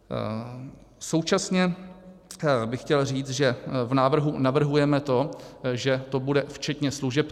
Současně bych chtěl říct, že v návrhu navrhujeme to, že to bude včetně služeb.